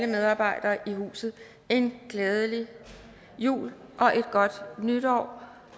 medarbejdere i huset en glædelig jul og et godt nytår